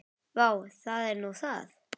Vá, það er nú það.